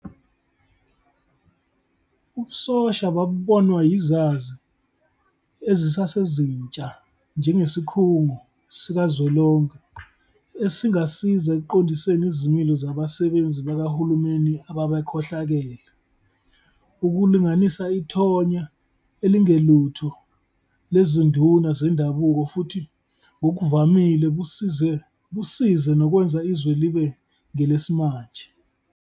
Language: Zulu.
Ubusosha babubonwa yizazi ezisezintsha njengesikhungo sikazwelonke esingasiza ekuqondiseni izimilo zabasebenzi kabahulumeni ababekhohlakele, ukulinganisa ithonya elingelutho lezinduna zendabuko futhi ngokuvamile busize nokwenza izwe libe ngelesimanje.